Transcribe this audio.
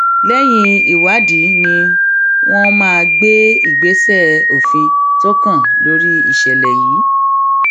lẹyìn ìwádìí ni wọn máa gbé ìgbésẹ òfin tó kàn lórí ìṣẹlẹ yìí